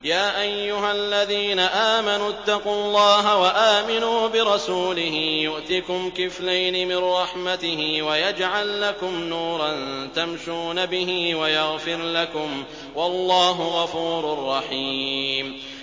يَا أَيُّهَا الَّذِينَ آمَنُوا اتَّقُوا اللَّهَ وَآمِنُوا بِرَسُولِهِ يُؤْتِكُمْ كِفْلَيْنِ مِن رَّحْمَتِهِ وَيَجْعَل لَّكُمْ نُورًا تَمْشُونَ بِهِ وَيَغْفِرْ لَكُمْ ۚ وَاللَّهُ غَفُورٌ رَّحِيمٌ